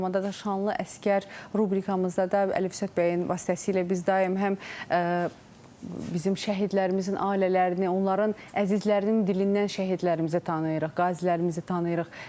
Eyni zamanda da şanlı əsgər rubrikamızda da Əlif Zət Bəyin vasitəsilə biz daim həm bizim şəhidlərimizin ailələrini, onların əzizlərinin dilindən şəhidlərimizi tanıyırıq, qazilərimizi tanıyırıq.